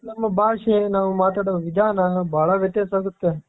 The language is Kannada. ನಮ್ಮ ಭಾಷೆ ನಾವ್ ಮಾತಾಡೋ ವಿಧಾನ ಬಹಳ ವ್ಯತ್ಯಾಸ ಆಗುತ್ತೆ.